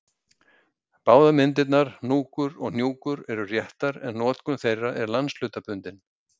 Báðar myndirnar hnúkur og hnjúkur eru réttar en notkun þeirra er landshlutabundin.